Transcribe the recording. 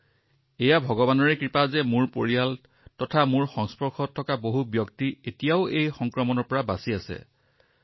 সেয়েহে ছাৰ এইটোও এটা ভগৱানৰ অনুগ্ৰহ যে মোৰ পৰিয়াল আৰু মোৰ বেছিভাগ পৰিচিত যি এতিয়ালৈকে এই সংক্ৰমণৰ পৰা বাচি আছে